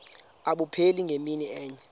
abupheli ngemini enye